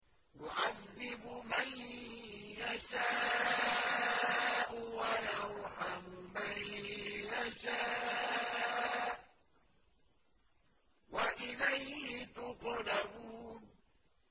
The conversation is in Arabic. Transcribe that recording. يُعَذِّبُ مَن يَشَاءُ وَيَرْحَمُ مَن يَشَاءُ ۖ وَإِلَيْهِ تُقْلَبُونَ